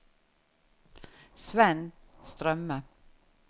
Svend Strømme